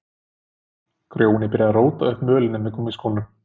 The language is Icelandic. Grjóni byrjaði að róta upp mölinni með gúmmískónum.